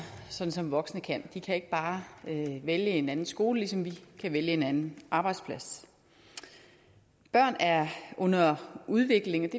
sådan som voksne kan de kan ikke bare vælge en anden skole ligesom vi kan vælge en anden arbejdsplads børn er under udvikling